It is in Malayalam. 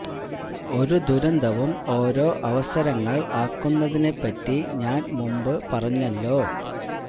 ഒരു ദുരന്തവും ഓരോ അവസരങ്ങൾ ആക്കുന്നതിനെ പറ്റി ഞാൻ മുൻപ് പറഞ്ഞല്ലോ